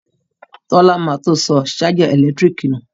Tọ́lá ma tó sọ ṣájà ẹ̀lẹ́tíríkì nù